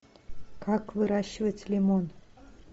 как выращивать лимон